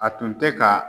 A tun tɛ ka